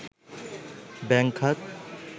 bank খাত